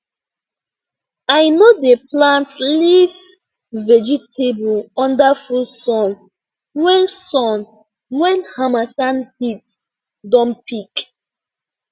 i no dey plant leaf vegetable under full sun when sun when harmattan heat don peak